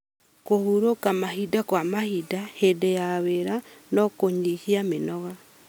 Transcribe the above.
Kũhurũka mahinda kwa mahinda hĩndĩ ya wĩra no kũnyihie mĩnoga.